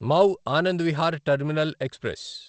Mau Anand Vihar terminal express